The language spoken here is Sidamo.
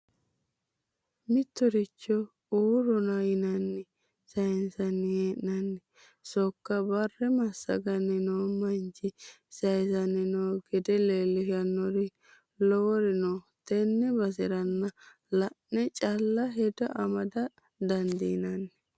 Mittoricho uurrona yinanni sayinsanni hee'nonni sokka bare massaganni no manchi saysanni no gede leellishanori lowori no tenne baseranna la'ne calla hedo amada dandiinanni.